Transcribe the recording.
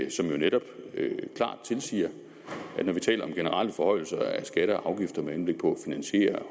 jo netop klart tilsiger at når vi taler om generelle forhøjelser af skatter og afgifter med henblik på at finansiere